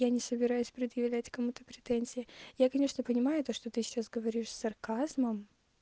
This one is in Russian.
я не собираюсь предъявлять кому-то претензия я конечно понимаю то что ты сейчас говоришь с сарказмом